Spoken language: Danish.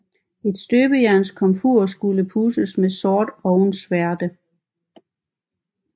Et støbejernskomfur skulle pudses med sort ovnsværte